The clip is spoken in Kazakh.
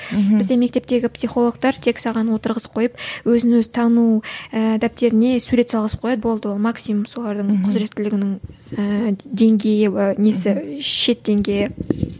мхм бізде мектептегі психолгтар тек саған отырғызып қойып өзін өзі тану ііі дәптеріне сурет салғызып қояды болды ол максимум солардың құзіреттілігінің ііі деңгейі несі шет деңгейі